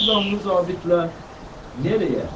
Şu qanlı zabitlə hara?